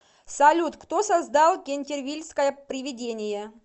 салют кто создал кентервильское привидение